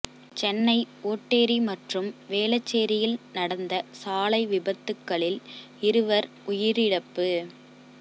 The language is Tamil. சென்னை ஓட்டேரி மற்றும் வேளச்சேரியில் நடந்த சாலை விபத்துகளில் இருவர் உயிரிழப்பு